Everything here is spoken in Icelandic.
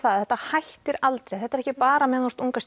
að þetta hættir aldrei þetta er ekki bara meðan þú ert unga